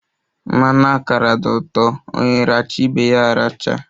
Mmanụ akara di ụtọ, onye racha ibe ya aracha